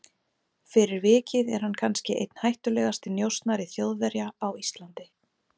Fyrir vikið er hann kannski einn hættulegasti njósnari Þjóðverja á Íslandi.